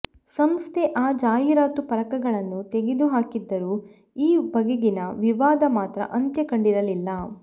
ಸಂಸ್ಥೆ ಆ ಜಾಹೀರಾತು ಫಲಕಗಳನ್ನು ತೆಗೆದುಹಾಕಿದ್ದರೂ ಈ ಬಗೆಗಿನ ವಿವಾದ ಮಾತ್ರ ಅಂತ್ಯ ಕಂಡಿರಲಿಲ್ಲ